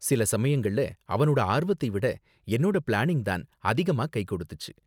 சில சமயங்கள்ல அவனோட ஆர்வத்தை விட என்னோட பிளானிங் தான் அதிகமா கை கொடுத்துச்சு.